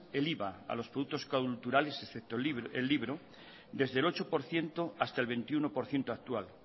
el iva a los productos culturales excepto el libro desde el ocho por ciento hasta el veintiuno por ciento actual